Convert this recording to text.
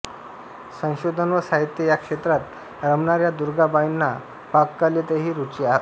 संशोधन व साहित्य या क्षेत्रात रमणाऱ्या दुर्गाबाईंना पाककलेतही रुची होती